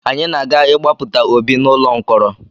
Anyị ga-aga ịgbapụta Obi n’ụlọ mkọrọ